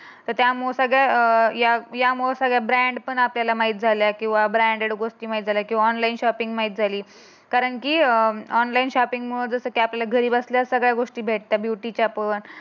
तर त्यामुळे सगळ अं या यामूळ सगळ्या ब्रँड पण माहित झाल्या किंवा ब्रँडेड गोष्ट माहित झाल्या किंवा ऑनलाइन शॉपिंग माहित झाली. कारण की अं ऑनलाईन शॉपिंग मूळ आपल्याला सगळ्या गोष्टी घरबसल्या भेटतात. ब्युटीच्या पण